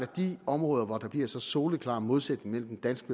de områder hvor der bliver så soleklar modsætning mellem den danske